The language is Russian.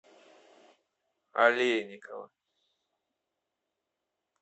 олейникова